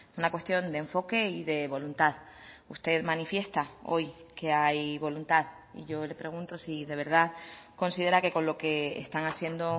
una cuestión de enfoque y de voluntad usted manifiesta hoy que hay voluntad y yo le pregunto si de verdad considera que con lo que están haciendo